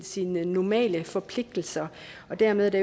sige normale forpligtelser og dermed er det